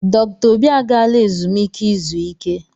Dr. Obi agaala ezumike izu ike.